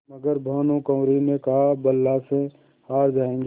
मगर भानकुँवरि ने कहाबला से हार जाऍंगे